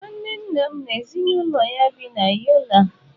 Nwanne nna m n'ezinụlọ ya bi na Yola.